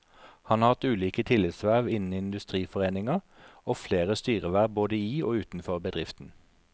Han har hatt ulike tillitsverv innen industriforeninger, og flere styreverv både i og utenfor bedriften.